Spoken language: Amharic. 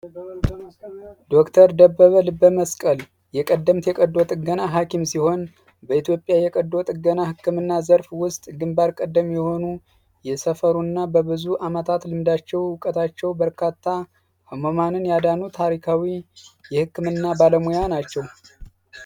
ዶ/ር ደበበ ልበ መስቀል የቀደምት የቀዶ ጥገና ሃኪም ሲሆን በኢትዮጵያ የቀዶ ጥገና ሕክምና ዘርፍ ውስጥ ግንባር ቀደም የሆኑ የሰፈሩእና በብዙ ዓመታት ልምዳቸው እውቀታቸው በርካታ ህመማንን ያዳኑ ታሪካዊ የሕክምና ባለሙያ ናቸው፡፡